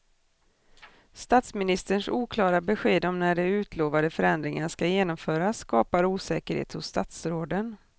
Statsministerns oklara besked om när de utlovade förändringarna ska genomföras skapar osäkerhet hos statsråden.